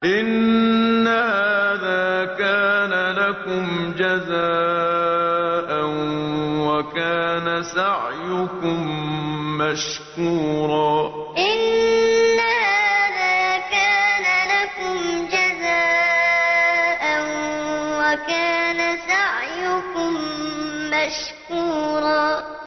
إِنَّ هَٰذَا كَانَ لَكُمْ جَزَاءً وَكَانَ سَعْيُكُم مَّشْكُورًا إِنَّ هَٰذَا كَانَ لَكُمْ جَزَاءً وَكَانَ سَعْيُكُم مَّشْكُورًا